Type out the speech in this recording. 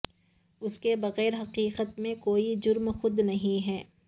اس کے بغیر حقیقت میں کوئی جرم خود نہیں ہے